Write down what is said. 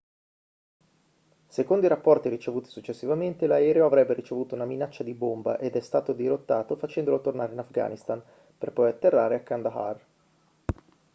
secondo i rapporti ricevuti successivamente l'aereo avrebbe ricevuto una minaccia di bomba ed è stato dirottato facendolo tornare in afghanistan per poi atterrare a kandahar